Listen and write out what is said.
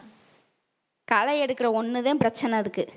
களை எடுக்கற ஒண்ணுதான் பிரச்சனை அதுக்கு